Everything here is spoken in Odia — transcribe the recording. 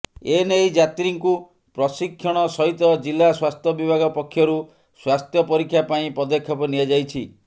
ଏ ନେଇ ଯାତ୍ରୀଙ୍କୁ ପ୍ରଶିକ୍ଷଣ ସହିତ ଜିଲ୍ଲା ସ୍ବାସ୍ଥ୍ୟ ବିଭାଗ ପକ୍ଷରୁ ସ୍ବାସ୍ଥ୍ୟ ପରୀକ୍ଷା ପାଇଁ ପଦକ୍ଷେପ ନିଆଯାଇଛି